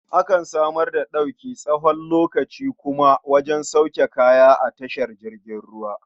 Akan samar da ɗauki tsawon lokaci kuma wajen sauke kaya a tashar jiragen ruwa.